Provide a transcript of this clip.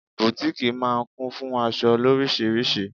Butiiki máa ń kún fún aṣọ loríṣiríṣi.